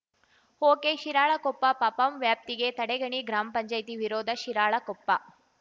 ಓಕೆಶಿರಾಳಕೊಪ್ಪ ಪಪಂ ವ್ಯಾಪ್ತಿಗೆ ತಡಗಣಿ ಗ್ರಾಮ್ ಪಂಚಾಯತಿ ವಿರೋಧ ಶಿರಾಳಕೊಪ್ಪ